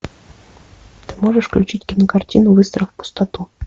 ты можешь включить кинокартину выстрел в пустоту